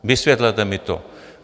Vysvětlete mi to.